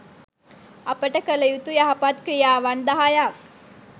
අපට කළ යුතු යහපත් ක්‍රියාවන් දහයක්